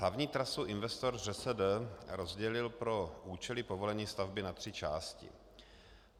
Hlavní trasu investor ŘSD rozdělil pro účely povolení stavby na tři části.